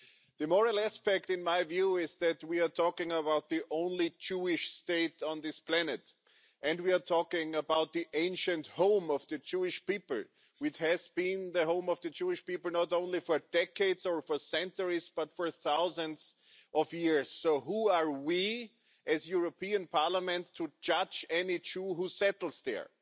The moral aspect, in my view, is that we are talking about the only Jewish state on this planet, and we are talking about the ancient home of the Jewish people, which has been the home of the Jewish people not only for decades or for centuries, but for thousands of years. So who are we as the European Parliament to judge any Jew who settles there?